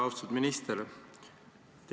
Austatud minister!